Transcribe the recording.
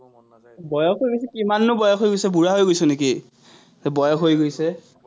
বয়স হৈছে, কিমাননো বয়স হৈ গৈছে, বুঢ়া হৈ গৈছ নেকি? বয়স হৈ গৈছে।